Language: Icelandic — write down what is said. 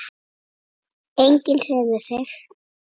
Enginn hreyfði sig.